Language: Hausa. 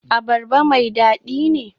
Abarba mai dadi ne?